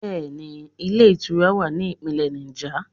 Bẹẹni, ilé ìtura wà ní Ìpínlẹ̀ Niger.